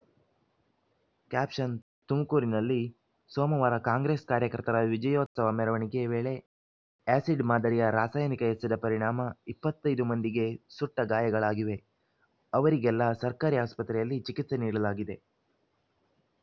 caption ತುಮಕೂರಿನಲ್ಲಿ ಸೋಮವಾರ Congress ಕಾರ್ಯಕರ್ತರ ವಿಜಯೋತ್ಸವ ಮೆರವಣಿಗೆ ವೇಳೆ ಆ್ಯಸಿಡ್‌ ಮಾದರಿಯ ರಾಸಾಯನಿಕ ಎಸೆದ ಪರಿಣಾಮ ಇಪ್ಪತ್ತ್ ಐದು ಮಂದಿಗೆ ಸುಟ್ಟಗಾಯಗಳಾಗಿವೆ ಅವರಿಗೆಲ್ಲ ಸರ್ಕಾರಿ ಆಸ್ಪತ್ರೆಯಲ್ಲಿ ಚಿಕಿತ್ಸೆ ನೀಡಲಾಗಿದೆ